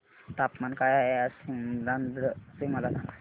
तापमान काय आहे आज सीमांध्र चे मला सांगा